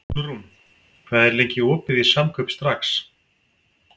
Úlfrún, hvað er lengi opið í Samkaup Strax?